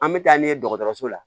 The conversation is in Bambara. An bɛ taa n'u ye dɔgɔtɔrɔso la